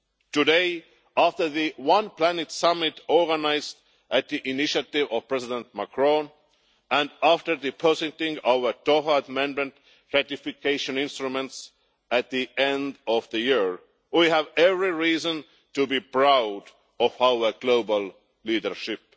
Today, after the One Planet Summit organised on the initiative of President Macron and after depositing our Doha amendment ratification instruments at the end of the year, we have every reason to be proud of our global leadership.